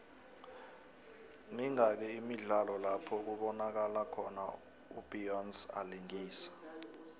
mingaki imidlalo lapho kubonakalo khona u beyonce alingisa